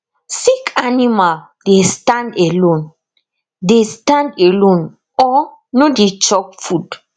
sick animal dey stand alone dey stand alone or no dey chop food